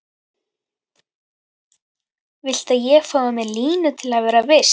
Viltu að ég fái mér línu til að vera viss?